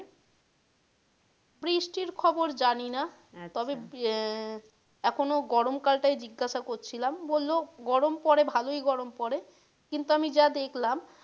বৃষ্টির খবর জানিনা তবে আহ এখন গরম কাল টাই জিজ্ঞাসা করছিলাম বললো গরম পড়ে ভালোই গরম পড়ে কিন্তু আমি যা দেখলাম,